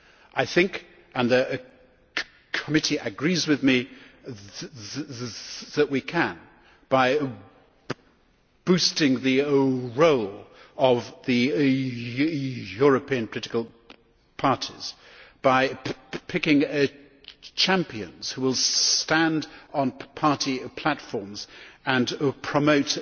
I think, and the committee agrees with me, that we can, by boosting the role of the European political parties, by picking champions who will stand on party platforms and promote